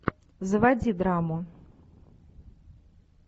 заводи драму